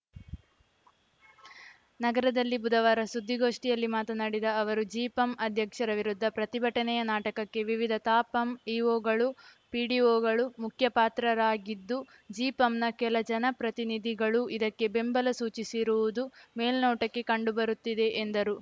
ನಗರದಲ್ಲಿ ಬುಧವಾರ ಸುದ್ದಿಗೋಷ್ಠಿಯಲ್ಲಿ ಮಾತನಾಡಿದ ಅವರು ಜಿಪಂ ಅಧ್ಯಕ್ಷರ ವಿರುದ್ಧ ಪ್ರತಿಭಟನೆಯ ನಾಟಕಕ್ಕೆ ವಿವಿಧ ತಾಪಂ ಇಓಗಳು ಪಿಡಿಓಗಳು ಮುಖ್ಯ ಪಾತ್ರರಾಗಿದ್ದು ಜಿಪಂನ ಕೆಲ ಜನ ಪ್ರತಿನಿಧಿಗಳೂ ಇದಕ್ಕೆ ಬೆಂಬಲ ಸೂಚಿಸಿರುವುದು ಮೇಲ್ನೋಟಕ್ಕೆ ಕಂಡು ಬರುತ್ತಿದೆ ಎಂದರು